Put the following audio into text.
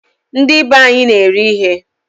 Ndibe anyị na-eri ihe